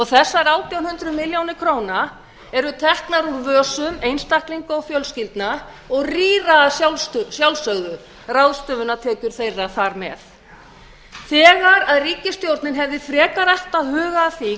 þessar átján hundruð milljóna króna eru teknar úr vösum einstaklinga og fjölskyldna og rýra á sjálfsögðu ráðstöfunartekjur þeirra þar með þegar ríkisstjórnin hefði frekar átt að huga að því